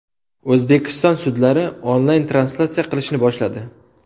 O‘zbekiston sudlari onlayn-translyatsiya qilishni boshladi.